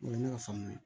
O ye ne ka faamuya ye